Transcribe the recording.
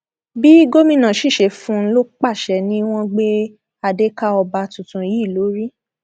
bí gómìnà sì ṣe fún un lọpàá àṣẹ ni wọn gbé adé ka ọba tuntun yìí lórí